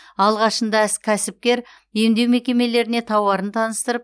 алғашында іс кәсіпкер емдеу мекемелеріне тауарын таныстырып